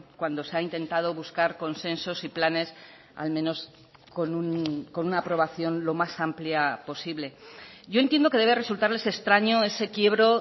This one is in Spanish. cuando se ha intentado buscar consensos y planes al menos con una aprobación lo más amplia posible yo entiendo que debe resultarles extraño ese quiebro